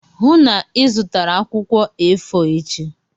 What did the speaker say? Hụụ na Ị zụtara akwụkwọ A4 echi!